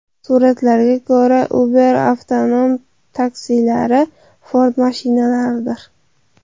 Suratlarga ko‘ra, Uber avtonom taksilari Ford mashinalaridir.